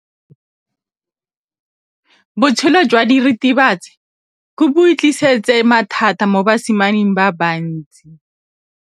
Botshelo jwa diritibatsi ke bo tlisitse mathata mo basimaneng ba bantsi.